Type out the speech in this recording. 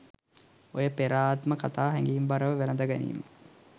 ඔය පෙර ආත්ම කතා හැඟීම්බරව වැලඳගැනීම